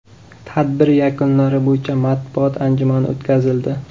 Tadbir yakunlari bo‘yicha matbuot anjumani o‘tkazildi.